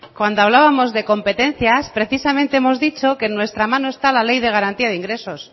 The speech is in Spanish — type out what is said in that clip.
cuando hablábamos de competencias precisamente hemos dicho que en nuestra mano esta la ley de garantía de ingresos